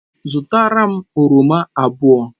Zụtara m oroma abụọ.